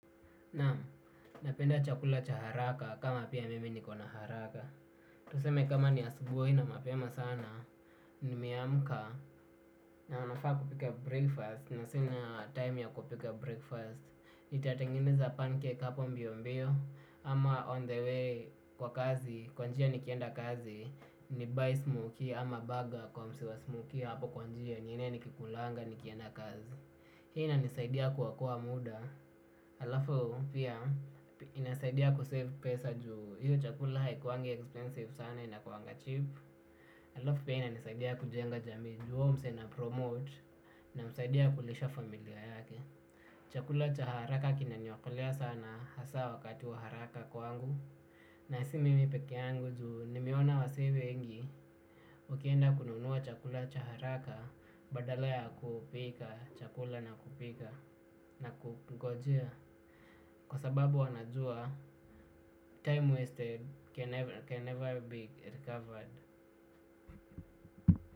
Na napenda chakula cha haraka kama pia mimi niko na haraka. Tuseme kama ni asubuhi na mapema sana. Nimeamka na nafaa kupika breakfast. Na sina time ya kupika breakfast nitatengeneza pancake hapo mbio mbio. Ama on the way kwa kazi kwa njia nikienda kazi. Ni buy smokey ama burger kwa maziwa smokey hapo kwa njia njine nikikulanga nikienda kazi. Hii inanisaidia kuokoa muda. Alafu pia inasaidia kusave pesa juu hiyo chakula haikuwagi expensive sana inakuwaga cheap. Alafu pia inasaidia kujenga jamii juu ya mzee na promote namsaidia kulisha familia yake. Chakula cha haraka kinaniokolea sana hasa wakati wa haraka kwangu. Nasi mimi peke yangu tu nimeona wazee wengi. Ukienda kununua chakula cha haraka, badala ya kupika chakula na kupika na kungojea. Kwa sababu wanajua, time wasted can never be recovered.